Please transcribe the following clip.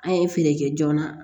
An ye feere kɛ joona